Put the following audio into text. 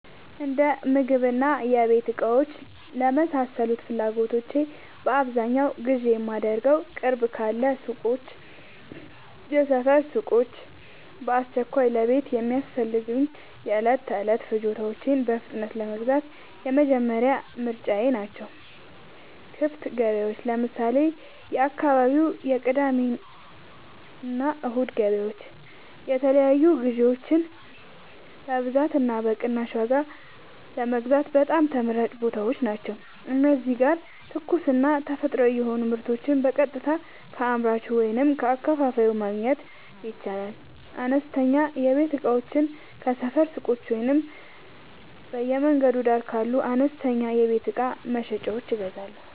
የእንደምግብና የቤት እቃዎች ለመሳሰሉት ፍላጎቶቼ በአብዛኛው ግዢ የማደርገዉ፦ ቅርብ ካሉ ሱቆች (የሰፈር ሱቆች)፦ በአስቸኳይ ለቤት የሚያስፈልጉ የዕለት ተዕለት ፍጆታዎችን በፍጥነት ለመግዛት የመጀመሪያ ምርጫየ ናቸው። ክፍት ገበያዎች (ለምሳሌ፦ የአካባቢው የቅዳሜና እሁድ ገበያዎች) የተለያዩ ግዥዎችን በብዛትና በቅናሽ ዋጋ ለመግዛት በጣም ተመራጭ ቦታዎች ናቸው። እዚህ ጋር ትኩስና ተፈጥሯዊ የሆኑ ምርቶችን በቀጥታ ከአምራቹ ወይም ከአከፋፋዩ ማግኘት ይቻላል። አነስተኛ የቤት እቃዎችን ከሰፈር ሱቆች ወይም በየመንገዱ ዳር ካሉ አነስተኛ የቤት እቃ መሸጫዎች እገዛለሁ።